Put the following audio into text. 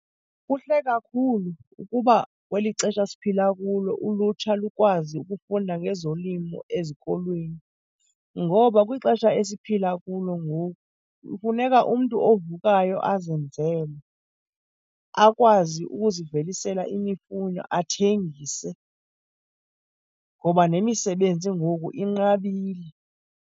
Kuhle kakhulu ukuba kweli xesha siphila kulo ulutsha lukwazi ukufunda ngezolimo ezikolweni. Ngoba kwixesha esiphila kulo ngoku kufuneka umntu ovukayo azenzele, akwazi ukuzivelisela imifuno athengise, ngoba nemisebenzi ngoku inqabile.